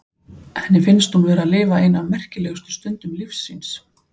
Henni finnst hún vera að lifa eina af merkilegustu stundum lífs síns.